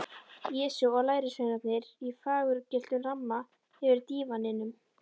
Jesú og lærisveinarnir í fagurgylltum ramma yfir dívaninum.